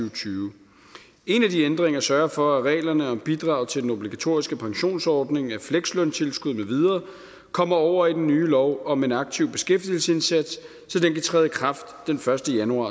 og tyve en af de ændringer sørge for at reglerne om bidrag til den obligatoriske pensionsordning af flekslønstilskud med videre kommer over i den nye lov om en aktiv beskæftigelsesindsats så den kan træde i kraft den første januar